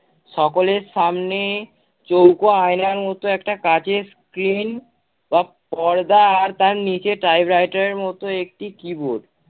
সকলের সামনে চৌক আয়নার মত একটা কাচের screen বা পর্দা আর তার নিচে typewriter এর মত একটি keyboard